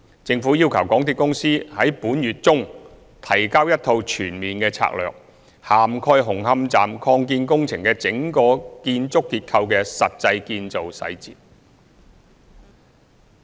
政府要求港鐵公司於本月中提交一套全面的策略，涵蓋紅磡站擴建工程的整個建築結構的實際建造細節。